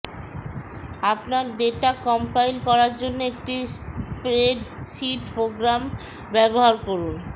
আপনার data compile করার জন্য একটি স্প্রেডশীট প্রোগ্রাম ব্যবহার করুন